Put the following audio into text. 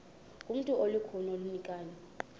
ngumntu olukhuni oneenkani